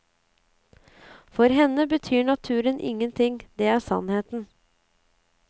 For henne betyr naturen ingenting, det er sannheten.